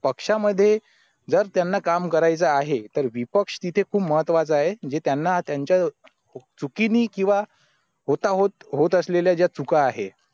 पक्षामध्ये जर त्यांना काम करायचं आहे तर विपक्ष तिथे खूप महत्त्वाचा आहे जे त्यांना त्यांच्या चुकीने किंवा होता होत होत असलेल्या ज्या चुका आहेत